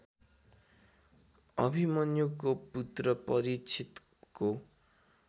अभिमन्युको पुत्र परीक्षितको